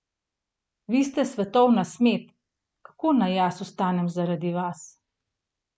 Vi ste svetovna smet, kako naj jaz vstanem zaradi vas ...